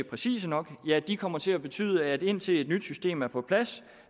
præcise nok kommer til at betyde at indtil et nyt system er på plads